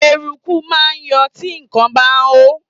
Eruku máa ń yọ tí nǹkan bá hó.